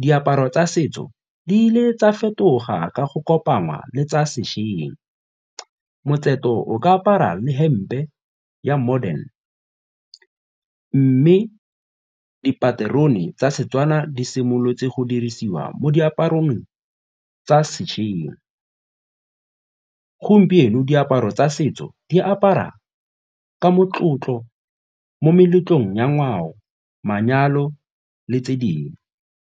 diaparo tsa setso di le tsa fetoga ka go kopangwa le tsa sešweng o ka apara le hempe ya modern mme dipaterone tsa Setswana di simolotse go dirisiwa mo diaparong tsa sešweng. Gompieno diaparo tsa setso di apara ka motlotlo mo meletlong ya ngwao, manyalo le tse dingwe.